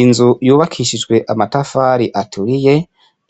Inzu yubakishijwe amatafari aturiye,